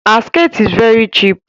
Her skirt is very cheap